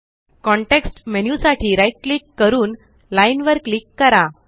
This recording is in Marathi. कॉन्टेक्स्ट मेन्यु साठी right क्लिक क्लिक करून लाईन वर क्लिक करा